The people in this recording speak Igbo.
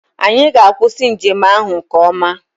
Anyị ga-akwụsị njem ahụ nke ọma.